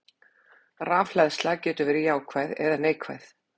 Rafhleðsla getur verið jákvæð eða neikvæð.